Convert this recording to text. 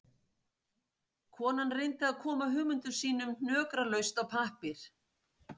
Konan reyndi að koma hugmyndum sínum hnökralaust á pappír